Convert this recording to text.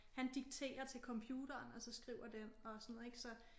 Han dikterer til computeren og så skriver den og sådan noget ik så